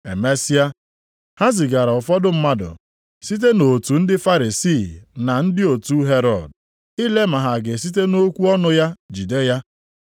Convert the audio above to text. Emesịa, ha zigara ụfọdụ mmadụ site nʼotu ndị Farisii na ndị otu Herọd, ile ma ha ga-esite nʼokwu ọnụ ya jide ya.